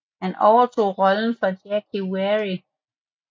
Han overtog rollen fra Jake Weary